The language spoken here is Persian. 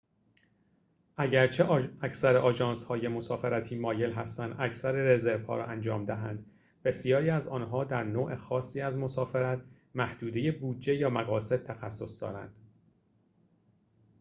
اگرچه اکثر آژانس‌های مسافرتی مایل هستند اکثر رزروها را انجام دهند بسیاری از آنها در نوع خاصی از مسافرت محدوده بودجه یا مقاصد تخصص دارند